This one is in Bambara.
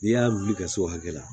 N'i y'a wuli ka s' o hakɛ la